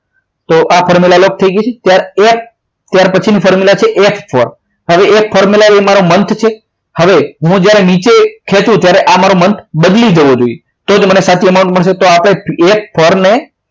તો આ formula lock થઈ ગઈ છે ત્યારે એફ ત્યાર પછીની formula છે F four હવે એ M four છે month છે હવે હું જ્યારે નીચે ખેંચું ત્યારે આ મારો month બદલી જવો જોઈએ તો તમને સાચો amount મળશે તો આપણે F four ને